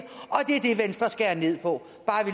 det er det venstre skærer ned på